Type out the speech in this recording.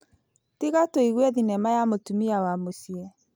Tiga tũigue thinema ya mũtumia wa mũciĩ.